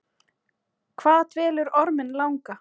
Hvað dvelur orminn langa?